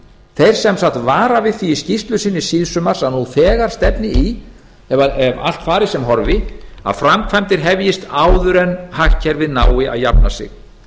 þeir sem sagt vara við því í skýrslu sinni síðsumars að nú þegar stefni í ef allt fari sem horfi að framkvæmdir hefjist áður en hagkerfið nái að jafna sig